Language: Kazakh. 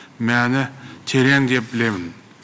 мәні терең деп білемін